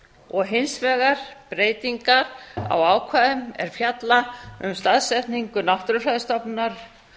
og hins vegar breytingar á ákvæðum er fjalla um staðsetningu náttúrufræðistofnunar